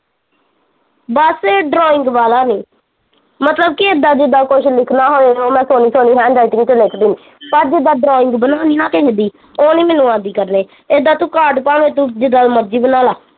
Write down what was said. ਬਸ ਇੱਕ drawing ਵਾਲਾਂ ਨੀ, ਮਤਲਬ ਕੀ ਇੱਦਾਂ ਜਿਦਾਂ ਕੁਛ ਲਿਖਨਾ ਹੋਏ ਤਾਂ ਮੈਂ ਸੋਹਣੀ ਸੋਹਣੀ handwriting ਚ ਲਿਖ ਦਿੰਦੀ ਪਰ ਜਿਦਾਂ drawing ਬਣਾਉਣੀ ਨਾ ਕਿਸੇ ਦੀ, ਉਹ ਨੀ ਮੈਨੂੰ ਆਉਂਦੀ ਕਰਣੀ, ਏਦਾਂ ਕਾਡ ਭਾਂਵੇ ਤੂੰ ਜਿਦਾਂ ਦਾ ਮਰਜ਼ੀ ਬਨਾਲਾਂ